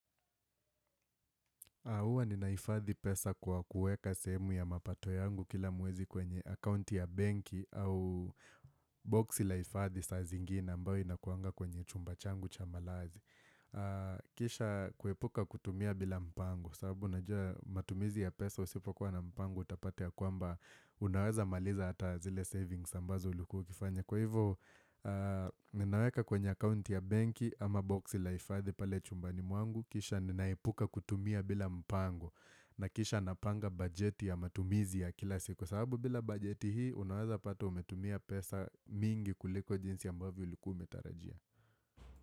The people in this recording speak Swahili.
Huwa ninahifadhi pesa kwa kuweka sehemu ya mapato yangu kila mwezi kwenye akaunti ya benki au boxi la hifadhi saa zingine ambayo inakuanga kwenye chumba changu cha malazi. Kisha kuepuka kutumia bila mpango sababu unajua matumizi ya pesa usipo kuwa na mpango utapata ya kwamba unaweza maliza hata zile savings ambazo ulikuwa ukifanya. Kwa hivyo ninaweka kwenye akaunti ya benki ama boxi la hifadhi pale chumbani mwangu Kisha ninaepuka kutumia bila mpango na kisha napanga bajeti ya matumizi ya kila siku Kwa sababu bila bajeti hii unaweza pata umetumia pesa mingi kuliko jinsi ambavyo ulikuwa umetarajia.